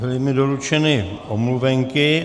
Byly mi doručeny omluvenky.